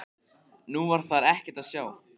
Nú var þar ekkert að sjá.